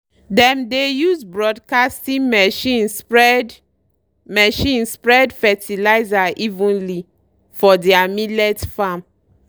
dem dey use broadcasting machine spread machine spread fertilizer evenly for deir millet farm.